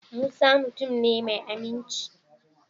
Musa mutum ne mai aminci.